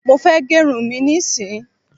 Mofe gerun mí ní sìn!